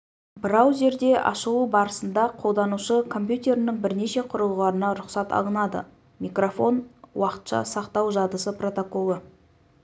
браузерде ашылу барысында қолданушы компьютерінің бірнеше құрылғыларына рұқсат алынады микрофон уақытша сақтау жадысы протоколы